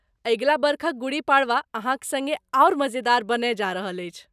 अगिला बरखक गुड़ी पड़वा अहाँक सङ्गे आओर मजेदार बनय जा रहल अछि।